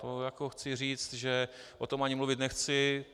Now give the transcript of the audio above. To jako chci říct, že o tom ani mluvit nechci.